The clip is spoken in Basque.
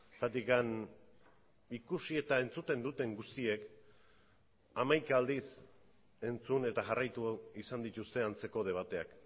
zergatik ikusi eta entzuten duten guztiek hamaika aldiz entzun eta jarraitu izan dituzte antzeko debateak